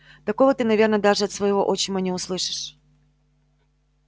такого ты наверное даже от своего отчима не услышишь